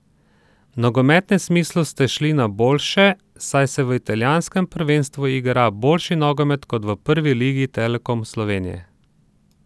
V nogometnem smislu ste šli na boljše, saj se v italijanskem prvenstvu igra boljši nogomet kot v Prvi ligi Telekom Slovenije.